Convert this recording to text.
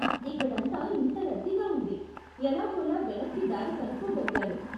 ఇక్కడంతా ఇంత రద్దీగా ఉంది, ఎలాగోలా వెనక్కి దారి కనుక్కోగలిగాను.